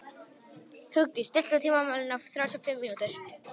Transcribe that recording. Hugdís, stilltu tímamælinn á þrjátíu og fimm mínútur.